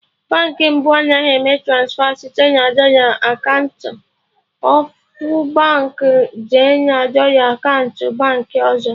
Baankị mbụ Anaghị eme transfa site na dọla akaụntụ ofu Baankị jee na dọla akaụntụ Baankị ọzọ